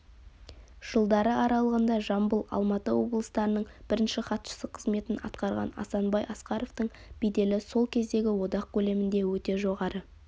жылдары аралығында жамбыл алматы облыстарының бірінші хатшысы қызметін атқарған асанбай асқаровтың беделі сол кездегі одақ көлемінде өте жоғары